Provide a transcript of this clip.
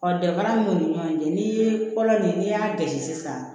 Ɔ danfara min b'u ni ɲɔgɔn cɛ ni ye kɔlɔn ni y'a gasi sisan